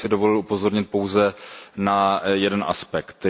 Já bych si dovolil upozornit pouze na jeden aspekt.